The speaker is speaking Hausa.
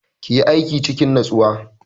Ki yi aikin cikin natsuwa!